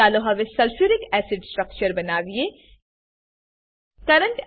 ચાલો હવે sulphuric acid sulphuric acid structure બનાવીએ